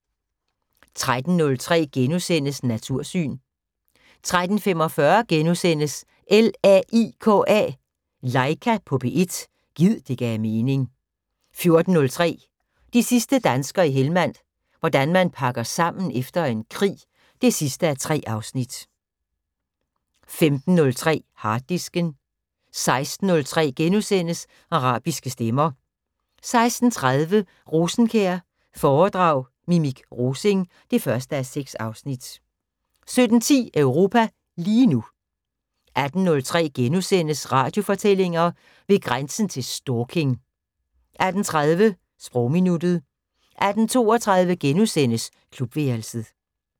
13:03: Natursyn * 13:45: LAIKA på P1 – gid det gav mening * 14:03: De sidste danskere i Helmand – hvordan man pakker sammen efter en krig 3:3 15:03: Harddisken 16:03: Arabiske stemmer * 16:30: Rosenkjær foredrag Mimik Rosing 1:6 17:10: Europa lige nu 18:03: Radiofortællinger: Ved grænsen til stalking * 18:30: Sprogminuttet 18:32: Klubværelset *